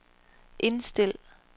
indstil